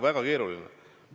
Väga keeruline.